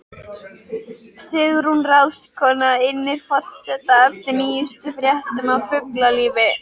Sigrún ráðskona innir forseta eftir nýjustu fréttum af fuglalífi.